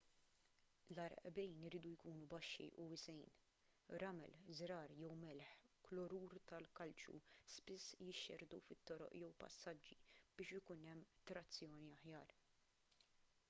l-għarqbejn iridu jkunu baxxi u wiesgħin. ramel żrar jew melħ klorur tal-kalċju spiss jixxerrdu fit-toroq jew passaġġi biex ikun hemm trazzjoni aħjar